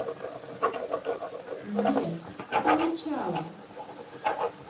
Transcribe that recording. сбер это начало